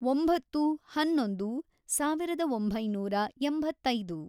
ಒಂಬತ್ತು, ಹನ್ನೊಂದು, ಸಾವಿರದ ಒಂಬೈನೂರ ಎಂಬತ್ತೈದು